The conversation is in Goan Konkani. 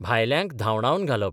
भायल्यांक धांवडावन घालप